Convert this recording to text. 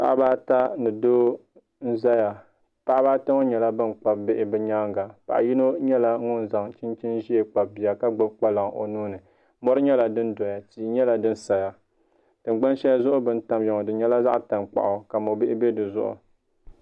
Paɣaba ata ni doo n ʒɛya paɣaba ata ŋɔ nyɛla ban kpabi bihi bi nyaanga paɣa yino nyɛla ŋun zaŋ chinchin ʒiɛ kpabi bia ka gbubi kpalaŋ o nuuni mori nyɛla din doya tia nyɛla din saya tingbani shɛli zuɣu bi ni tamya ŋɔ di nyɛla zaɣ tankpaɣu ka mo bihi sa dizuɣu